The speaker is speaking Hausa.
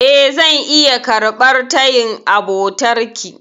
E, zan iya karɓar tayin abotarki.